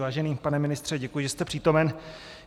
Vážený pane ministře, děkuji, že jste přítomen.